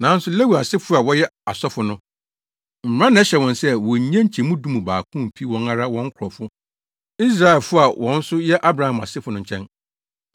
Nanso Lewi asefo a wɔyɛ asɔfo no Mmara na ɛhyɛ wɔn sɛ wonnye nkyɛmu du mu baako mfi wɔn ara wɔn nkurɔfo Israelfo a wɔn nso yɛ Abraham asefo no nkyɛn.